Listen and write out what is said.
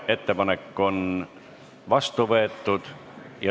Ettepanek on vastu võetud.